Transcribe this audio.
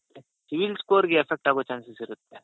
CIBIL score ಗೆ effect ಆಗೋ chances ಇರುತ್ತೆ.